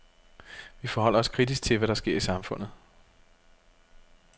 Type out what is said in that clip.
Vi forholder os kritisk til, hvad der sker i samfundet.